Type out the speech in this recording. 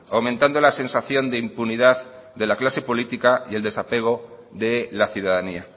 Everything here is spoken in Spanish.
aumentando la sensación de impunidad de la clase política y el desapego de la ciudadanía